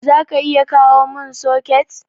zaka iya kawomin soket?